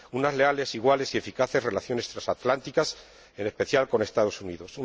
unas leales, iguales y eficaces relaciones transatlánticas, en especial con los Estados Unidos